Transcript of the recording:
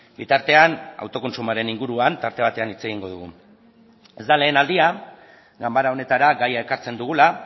bitartean autokontsumoaren inguruan tarte batean hitz egingo dugu ez da lehen aldia ganbara honetara gaia ekartzen dugula